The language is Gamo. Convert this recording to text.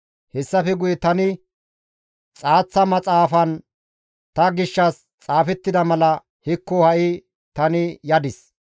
Hessafe guye tani, «Xaaththa maxaafan ta gishshas xaafettida mala hekko ha7i tani yadis.